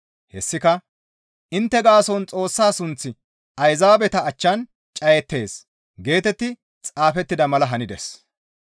Hessika, «Intte gaason Xoossa sunththi Ayzaabeta achchan cayettees» geetetti xaafettida mala hanides.